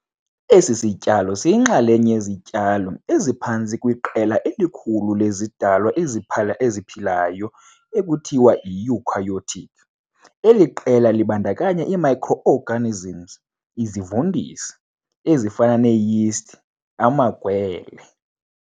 Esi sityalo siyinxalenye yezityalo eziphantsi kweqela elikhulu lezidalwa eziphilayo ekuthiwa yi-eukaryotic. Eli qela libandakanya ii-microorganisms, izivundisi, ezifana nee-yeasts amagwele.